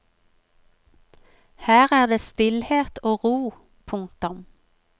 Her er det stillhet og ro. punktum